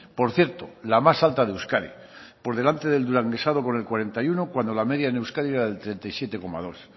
por cierto la más alta de euskadi por delante del duranguesado con el cuarenta y uno cuando la media en euskadi era del treinta y siete coma dos